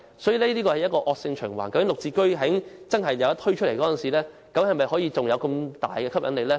所以，這可能會造成惡性循環，"綠置居"真正推出時是否仍能保持吸引力呢？